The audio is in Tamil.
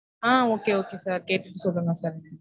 ஆஹ் okay okay sir. கேட்டுட்டு சொல்லுங்க sir.